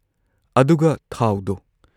ꯑꯗꯨꯒ ꯊꯥꯎꯗꯣ!